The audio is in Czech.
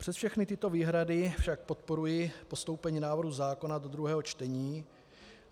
Přes všechny tyto výhrady však podporuji postoupení návrhu zákona do druhého čtení.